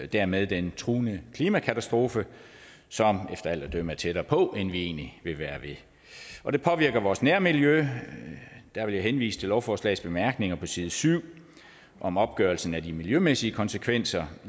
dermed den truende klimakatastrofe som efter alt at dømme er tættere på end vi egentlig vil være ved og det påvirker vores nærmiljø der vil jeg henvise til lovforslagets bemærkninger på side syv om opgørelsen af de miljømæssige konsekvenser